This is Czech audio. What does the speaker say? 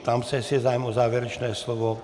Ptám se, jestli je zájem o závěrečné slovo.